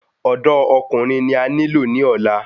Ọ̀dọ́ Ọkùnrin ni a nilo ni ọ̀la